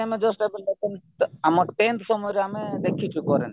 ଆମେ just ଆମ tenth ସମୟରେ ଆମେ ଦେଖିଚୁ କରେଣ୍ଟ